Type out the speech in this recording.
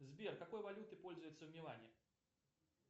сбер какой валютой пользуются в милане